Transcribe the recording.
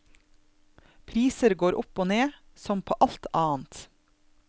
Priser går opp og ned, som på alt annet.